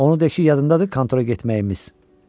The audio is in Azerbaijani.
Onu de ki, yadındadır kontora getməyimiz.